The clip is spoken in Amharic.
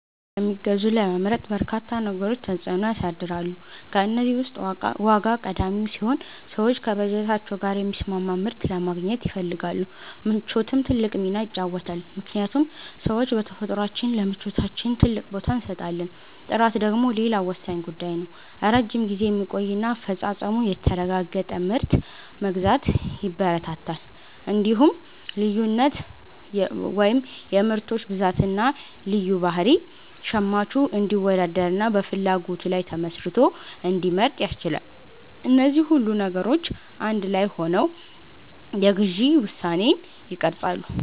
የት እንደሚገዙ ለመምረጥ በርካታ ነገሮች ተጽዕኖ ያሳድራሉ። ከእነዚህ ውስጥ ዋጋ ቀዳሚው ሲሆን፣ ሰዎች ከበጀታቸው ጋር የሚስማማ ምርት ለማግኘት ይፈልጋሉ። ምቾትም ትልቅ ሚና ይጫወታልምክንያቱም ሰዎች በተፈጥሯችን ለምቾታችን ትልቅ ቦታ እንሰጣለን። ጥራት ደግሞ ሌላው ወሳኝ ጉዳይ ነው፤ ረጅም ጊዜ የሚቆይና አፈጻጸሙ የተረጋገጠ ምርት መግዛት ያበረታታል። እንዲሁም ልዩነት (የምርቶች ብዛትና ልዩ ባህሪ) ሸማቹ እንዲወዳደርና በፍላጎቱ ላይ ተመስርቶ እንዲመርጥ ያስችላል። እነዚህ ሁሉ ነገሮች አንድ ላይ ሆነው የግዢ ውሳኔን ይቀርጻሉ።